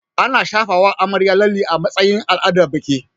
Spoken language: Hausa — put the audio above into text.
Ana shafawa amarya lalle a matsayin al'adar biki